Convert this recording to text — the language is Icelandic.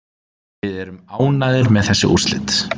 Við erum ánægðir með þessi úrslit